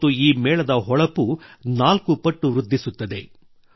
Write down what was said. ಮತ್ತು ಈ ಮೇಳದ ಹೊಳಪು ನಾಲ್ಕು ಪಟ್ಟು ವೃದ್ಧಿಸುತ್ತದೆ